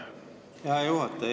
Hea juhataja!